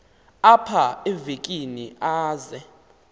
apha evekini aze